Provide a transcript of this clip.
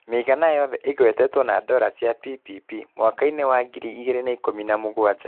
Mĩigana yothe ĩgwetetwo na dora cia PPP mwaka –inĩ wa ngiri igĩrĩ na ikũmi na mũgwanja.